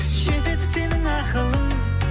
жетеді сенің ақылың